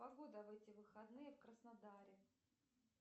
погода в эти выходные в краснодаре